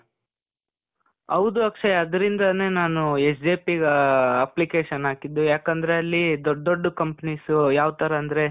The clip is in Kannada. ಹೌದು ಅಕ್ಷಯ್, ಅದ್ರಿಂದನೆ ನಾನು SJP ಗೇ, application ಹಾಕಿದ್ದು. ಯಾಕಂದ್ರೆ ಅಲ್ಲೀ ದೊಡ್ಡ್ ದೊಡ್ಡ್ companies, ಯಾವ್ ಥರ ಅಂದ್ರೆ,